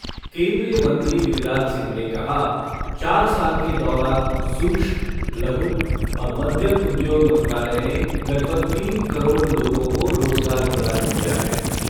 केन्द्रीय मंत्री गिरिराज सिंह ने कहा चार साल के दौरान सूक्ष्म, लघु और मध्यम उद्योग मंत्रालय ने लगभग तीन करोड़ लोगों को रोजगार प्रदान किया है।